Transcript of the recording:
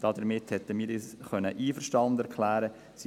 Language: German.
Damit hätten wir uns einverstanden erklären können.